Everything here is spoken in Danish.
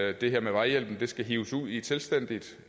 at det her med vejhjælpen skal hives ud i et selvstændigt